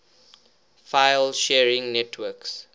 file sharing networks